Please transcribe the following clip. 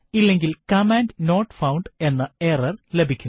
ഇല്ലെങ്കിൽ command not found എന്ന error ലഭിക്കും